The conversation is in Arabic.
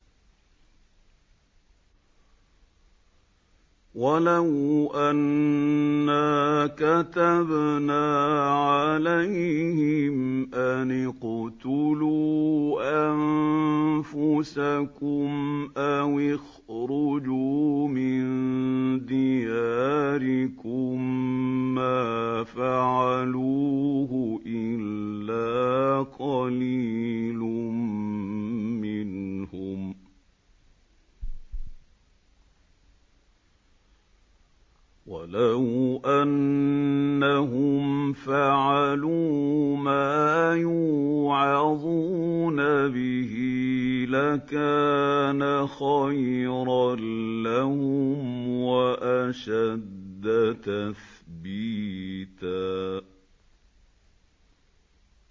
وَلَوْ أَنَّا كَتَبْنَا عَلَيْهِمْ أَنِ اقْتُلُوا أَنفُسَكُمْ أَوِ اخْرُجُوا مِن دِيَارِكُم مَّا فَعَلُوهُ إِلَّا قَلِيلٌ مِّنْهُمْ ۖ وَلَوْ أَنَّهُمْ فَعَلُوا مَا يُوعَظُونَ بِهِ لَكَانَ خَيْرًا لَّهُمْ وَأَشَدَّ تَثْبِيتًا